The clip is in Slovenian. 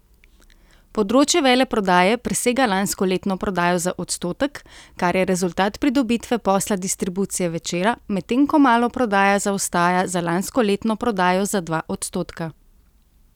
Področje veleprodaje presega lanskoletno prodajo za odstotek, kar je rezultat pridobitve posla distribucije Večera, medtem ko maloprodaja zaostaja za lanskoletno prodajo za dva odstotka.